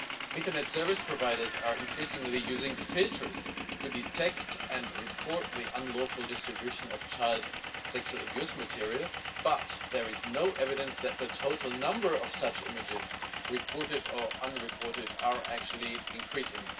Internet service providers are increasingly using filters to detect and report the unlawful distribution of child sexual abuse material, but there is no evidence that the total number of such images reported or unreported is actually increasing.